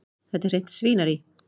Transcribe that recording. Þetta er hreint svínarí.